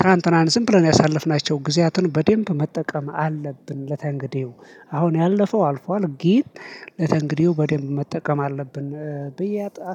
ትላንትናን ዝም ብለን ያሳለፍናቸውን ጊዜያትን በደንብ መጠቀም አለብን። ለተንግዲው አሁን ያለፈው አልፏል። ግን ለተንግዲው በደንብ መጠቀም አለብን ብዬ አ